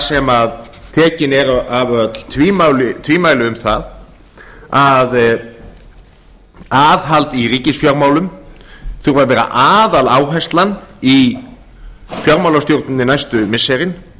sem tekin eru af öll tvímæli um það að aðhald í ríkisfjármálum þurfi að vera aðaláherslan í fjármálastjórninni næstu missirin